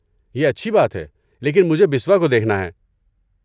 یہ اچھی بات ہے، لیکن مجھے بسوا کو دیکھنا ہے۔